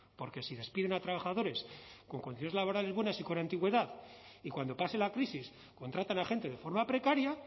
porque si despiden a trabajadores con condiciones laborales buenas y con antigüedad y cuando pase la crisis contratan a gente de forma precaria